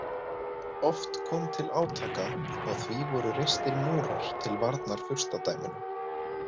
Oft kom til átaka og því voru reistir múrar til varnar furstadæmunum.